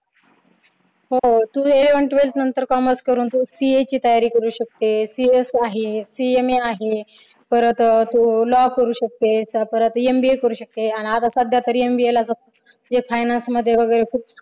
हो तू eleventh twelfth नंतर commerce करून तू CA ची तयारी करू शकतेस CS आहे CMA आहे परत law करू शकतेस MBA करू शकते. आणि आता सध्या तरी MBA ला जे finance मध्ये वगैरे खूप